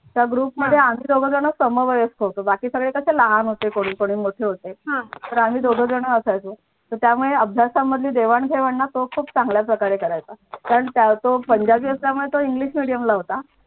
त्या ग्रुपमध्ये आम्ही दोघं जण सम वयस होतो बाकी सगळे कसे लहान होते कोणी कोणी मोठे होते तर आम्ही दोघे जण असायचो त्यामुळे अभ्यासा मधली देवाण-घेवाण तो खूप चांगल्या प्रकारे करायचा कारण तो कसा पंजाबी असल्या मुळे तो english medium ला होता.